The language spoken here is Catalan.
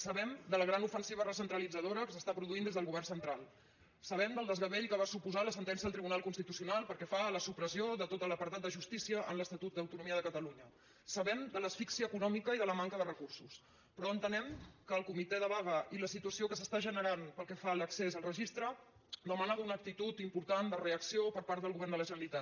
sabem de la gran ofensiva recentralitzadora que s’està produint des del govern central sabem del desgavell que va suposar la sentència del tribunal constitucional pel que fa a la supressió de tot l’apartat de justícia en l’estatut d’autonomia de catalunya sabem de l’asfíxia econòmica i de la manca de recursos però entenem que el comitè de vaga i la situació que s’està generant pel que fa a l’accés al registre demana una actitud important de reacció per part del govern de la generalitat